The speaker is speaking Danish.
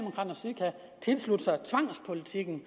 og tilslutte sig tvangspolitikken